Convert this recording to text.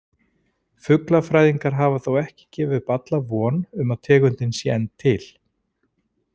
Fuglafræðingar hafa þó ekki gefið upp alla von um að tegundin sé enn til.